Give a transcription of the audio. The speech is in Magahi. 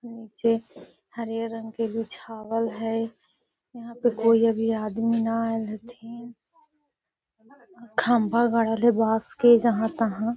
निचे हरियर रंग के बीछावल हई | यहाँ पे कोई अभी आदमी आईल न हथीन | खम्भा गाड़ल हई बास के जहाँ तहा |